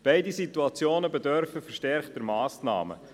Beide Situationen bedürfen verstärkter Massnahmen.